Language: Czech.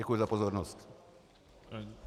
Děkuji za pozornost.